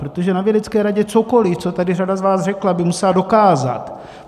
Protože na vědecké radě cokoli, co tady řada z vás řekla, by musela dokázat.